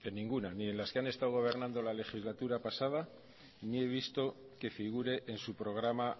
en ninguna ni en las que han estado gobernando en la legislatura pasada ni he visto que figure en su programa